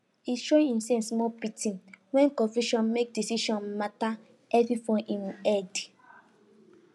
he show himself small pity wen confusion mak decision matter heavy for him head